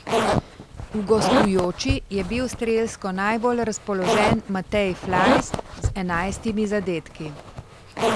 V gostujoči je bil strelsko najbolj razpoložen Matej Flajs z enajstimi zadetki.